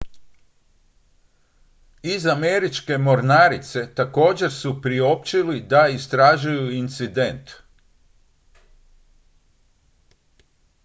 iz američke mornarice također su priopćili da istražuju incident